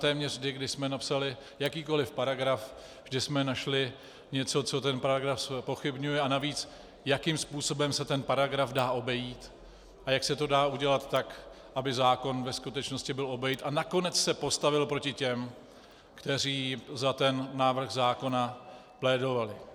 Téměř vždy, když jsme napsali jakýkoliv paragraf, vždy jsme našli něco, co ten paragraf zpochybňuje, a navíc jakým způsobem se ten paragraf dá obejít a jak se to dá udělat tak, aby zákon ve skutečnosti byl obejit a nakonec se postavil proti těm, kteří za ten návrh zákona plédovali.